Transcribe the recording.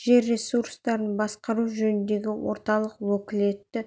жер ресурстарын басқару жөніндегі орталық уәкілетті